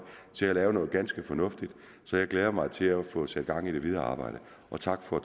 til at lave noget ganske fornuftigt så jeg glæder mig til at få sat gang i det videre arbejde og tak for